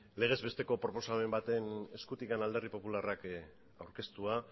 legez besteko proposamen baten eskutik alderdi popularrak aurkeztua